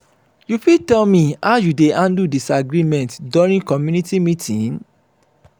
you fit tell me how you dey handle disagreement during community meeting?